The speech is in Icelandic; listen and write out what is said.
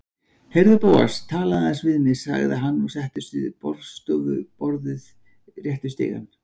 Heyrðu, Bóas, talaðu aðeins við mig- sagði hann og settist við borðstofuborðið rétt við stigann.